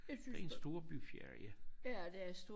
Det en storbyferie